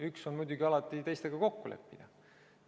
Üks võimalus on muidugi alati teistega kokku leppida.